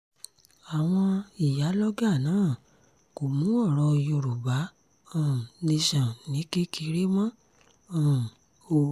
àwọn ìyálọ́gà náà kò mú ọ̀rọ̀ yorùbá um nation ní kékeré mọ́ um o